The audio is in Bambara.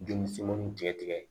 Joli fitinin tigɛ tigɛ